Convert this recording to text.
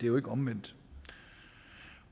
jo ikke omvendt